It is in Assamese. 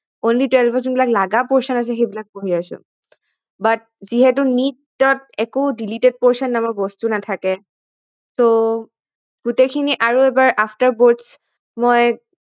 Only twelve ত যিবিলাক লাগা portion আছে সেইবিলাক পঢ়ি আছো but যিহেতু NEET ত একো deleted portion নামৰ বস্তু নাথাকে গোটেইখিনি আৰু এবাৰ after boards মই